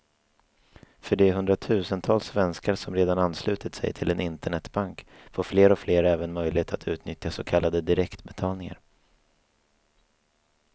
För de hundratusentals svenskar som redan anslutit sig till en internetbank får fler och fler även möjlighet att utnyttja så kallade direktbetalningar.